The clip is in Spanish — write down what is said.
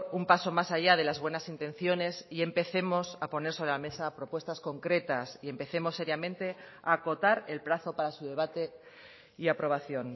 un paso más allá de las buenas intenciones y empecemos a poner sobre la mesa propuestas concretas y empecemos seriamente a acotar el plazo para su debate y aprobación